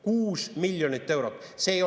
6 miljonit eurot!